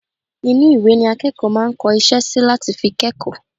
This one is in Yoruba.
inú ìwé ni akẹ́kọ̀ọ́ máa ń kọ iṣẹ́ sí láti fi kẹ́kọ̀ọ́